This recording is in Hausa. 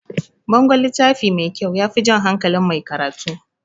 Bangon littafi mai kyau yafi jan hankalin mai karatu